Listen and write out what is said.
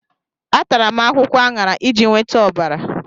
Atara m akwụkwọ aṅara iji nweta ọbara.